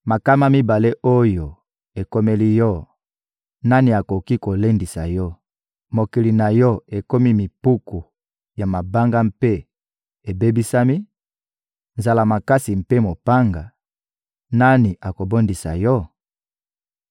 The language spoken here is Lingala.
Makama mibale oyo ekomeli yo, nani akoki kolendisa yo: Mokili na yo ekomi mipiku ya mabanga mpe ebebisami, nzala makasi mpe mopanga, nani akobondisa yo?